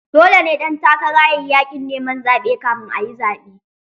Dole ne ɗan takara yayi yaƙin neman zaɓe kamin ayi zaɓe.